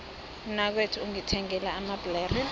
umnakwethu ungithengele amabhlere